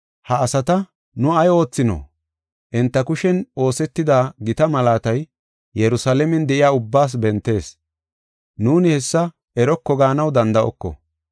“Ha asata nu ay oothino? Enta kushen oosetida gita malaatay Yerusalaamen de7iya ubbaas bentees. Nuuni hessa eroko gaanaw danda7oko.